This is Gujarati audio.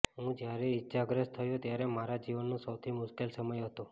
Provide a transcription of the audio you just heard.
હું જ્યારે ઇજાગ્રસ્ત થયો ત્યારે મારા જીવનનો સૌથી મુશ્કેલ સમય હતો